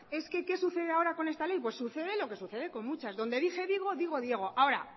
es que qué sucede ahora con esta ley sucede lo que sucede con muchas donde dije digo digo diego ahora